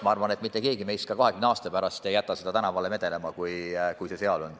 Ma arvan, et mitte keegi meist ei jäta ka 20 aasta pärast seda raha tänavale vedelema.